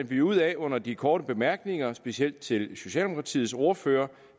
vi ud af under de korte bemærkninger specielt til socialdemokratiets ordfører